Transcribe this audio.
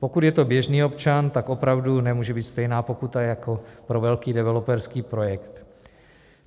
Pokud je to běžný občan, tak opravdu nemůže být stejná pokuta jako pro velký developerský projekt.